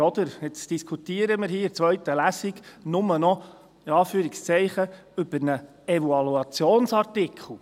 – Jetzt diskutieren wir hier in der zweiten Lesung «nur noch» über einen Evaluationsartikel.